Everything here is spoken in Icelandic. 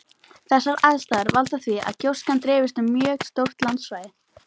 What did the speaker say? Þessar aðstæður valda því að gjóskan dreifist um mjög stórt landsvæði.